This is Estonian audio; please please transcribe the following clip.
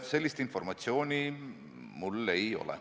Sellist informatsiooni mul ei ole.